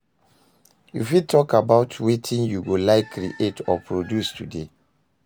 You fit talk about wetin you go like create or produce today?